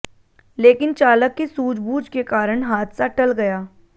लेकिन चालक की सूझबूझ के कारण हादसा टल गया